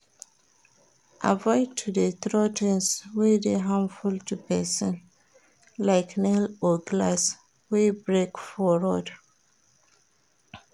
Avoid to de throw things wey de harmful to persin like nail or glass wey break for road